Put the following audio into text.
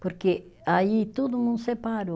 Porque aí todo mundo separou.